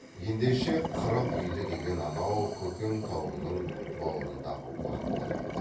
ендеше қырық үйлі деген анау көкен тауының бауырындағы уақ болады